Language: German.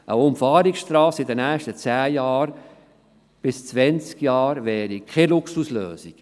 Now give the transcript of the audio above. Eine Umfahrungsstrasse in den nächsten zehn bis zwanzig Jahren wäre keine Luxuslösung.